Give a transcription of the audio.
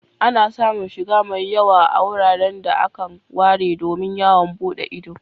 Ana samun shiga mai yawa a wuraren da akan ware domin yawon buɗe ido.